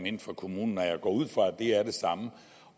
inden for kommunen og jeg går ud fra at det er de samme